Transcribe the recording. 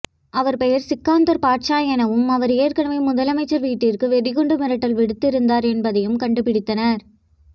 அவர் பெயர் சிக்கந்தர் பாட்சா என்பதும் அவர் ஏற்கனவே முதலமைச்சர் வீட்டிற்கு வெடிகுண்டு மிரட்டல் விடுத்து இருந்தார் என்பதையும் கண்டுபிடித்தனர்